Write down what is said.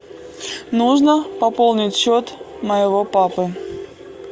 нужно пополнить счет моего папы